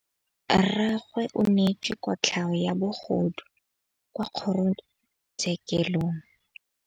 Rragwe o neetswe kotlhaô ya bogodu kwa kgoro tshêkêlông.